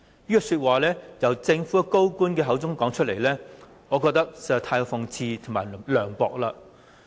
這句話由政府高官口中說出，我認為實在是太過諷刺和涼薄了。